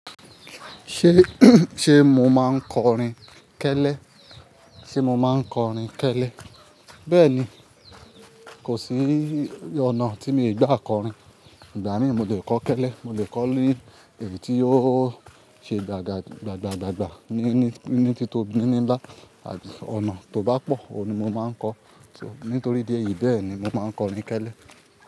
Ṣe ṣe mo máa ń kọrin kẹ́lẹ́? Ṣe mo máa ń kọrin kẹ́lẹ́? Bẹ́ẹ̀ni, kò sí ọ̀nà tí mi ò gbọ́ àkọ́rin. Ìgbà míì mo lè kọ́ kẹ́lẹ́, mo lè kọ́ ní èyí tí ó ṣe gbàgbà, gbàgbà, gbàgbà ní ní, ní tito ní ní bá. Ọ̀nà tó bá pọ̀, òun ni mo máa ń kọ́. So nítorí ìdí èyí bẹẹ ni mo máa ń kọrin kẹ́lẹ́